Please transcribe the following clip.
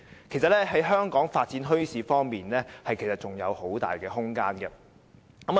其實，香港在發展墟市方面仍然是有很大空間的。